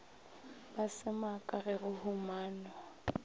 ba semaka ge go humanwa